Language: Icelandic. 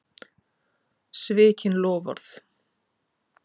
Svikin loforð.